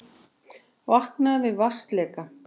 Vaknaði við vatnsleka